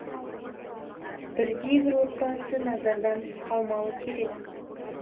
бірде бір отбасы назардан тыс қалмауы керек